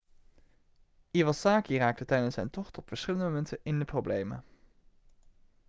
iwasaki raakte tijdens zijn tocht op verschillende momenten in de problemen